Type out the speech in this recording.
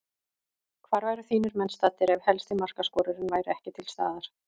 Hvar væru þínir menn staddir ef helsti markaskorarinn væri ekki til staðar?